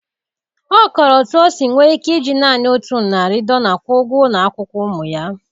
Ọ kọrọ otú o si nwee ike iji naanị otu narị dollar kwụọ ụgwọ ụlọ akwụkwọ ụmụ ya